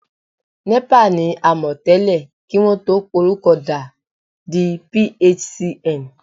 NEPA ni a mọ̀ tẹ́lẹ̀ kí wọn tó porúkọ da di PHCN